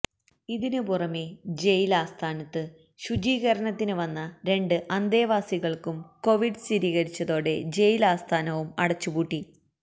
ഇതിന് പുറമെ ജയില് ആസ്ഥാനത്ത് ശുചീകരണത്തിന് വന്ന രണ്ട് അന്തേവാസികള്ക്കും കോവിഡ് സ്ഥിരീകരിച്ചതോടെ ജയില് ആസ്ഥാനവും അടച്ചിപുന്നു